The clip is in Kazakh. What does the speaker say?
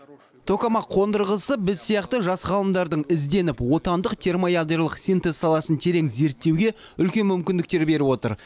токамак қондырғысы біз сияқты жас ғалымдардың ізденіп отандық термоядролық синтез саласын терең зерттеуге үлкен мүмкіндіктер беріп отыр